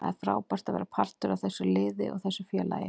Það er frábært að vera partur af þessu liði og þessu félagi.